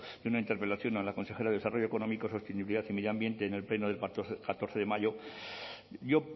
de una interpelación a la consejera de desarrollo económico sostenibilidad y medio ambiente en el pleno del pasado catorce de mayo yo